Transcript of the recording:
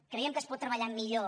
creiem que es pot treballar millor